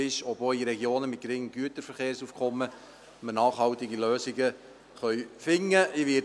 Offen ist, ob wir auch in Regionen mit geringem Güterverkehrsaufkommen nachhaltige Lösungen finden können.